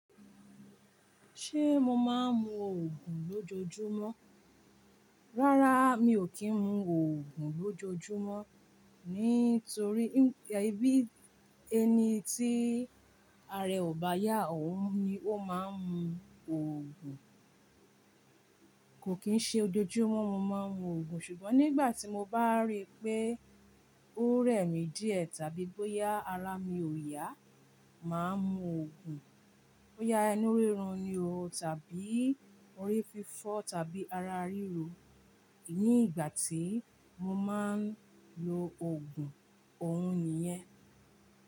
Ṣé mo máa ń mu òògùn lójoojúmọ́? Rárá mi ò kí ń mu òògùn lójoojúmọ́ nítorí bí ẹni tí ara ẹ ò bá yá òun ni ó máa ń mu òògùn. Kò kín ṣe lójoojúmọ́ mo máa ń mu òògùn ṣùgbọ́n nígbà tí mo bá rí pé ó rẹ̀ mí díẹ̀ tàbí bóyá ara mi ò yá, màá mu òògùn. Bóyá inú rírun ni o, tàbí orí fífọ́, tàbí ara ríro. Ní ìgbà tí mo máa ń lo òògùn òun nìyẹn.